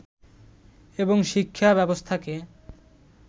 এবং শিক্ষা ব্যবস্থাকে